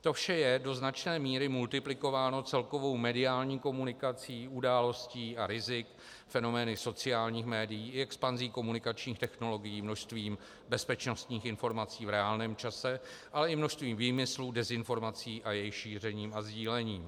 To vše je do značné míry multiplikováno celkovou mediální komunikací událostí a rizik, fenomény sociálních médií i expanzí komunikačních technologií, množstvím bezpečnostních informací v reálném čase, ale i množstvím výmyslů, dezinformací a jejich šířením a sdílením.